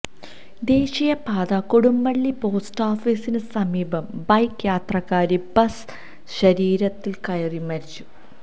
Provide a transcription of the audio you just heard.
ദേശീയപാത കൊടുവള്ളി പോസ്റ്റാഫിസിന് സമീപം ബൈക്ക് യാത്രക്കാരി ബസ് ശരീരത്തിൽ കയറി മരിച്ചു